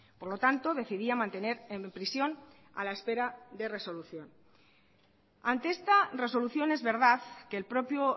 por lo tanto decidía mantener en prisión a la espera de resolución ante esta resolución es verdad que el propio